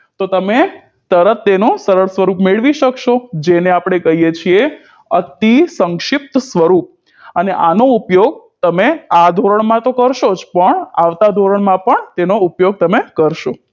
તો તમે તરત તેનો સરળ સ્વરૂપ મેળવી શકશો જેને આપણે કહીએ છીએ અતિસંક્ષિપ્ત સ્વરૂપ અને આનો ઉપયોગ તમે આ ધોરણમાં તો કરશો જ પણ આવતા ધોરણમાં પણ તેનો ઉપયોગ તમે કરશો